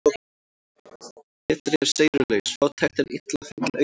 Betri er seyrulaus fátækt en illa fenginn auður.